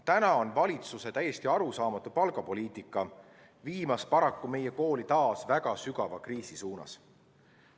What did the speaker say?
Praegu viib valitsuse täiesti arusaamatu palgapoliitika meie kooli paraku taas väga sügava kriisi suunas.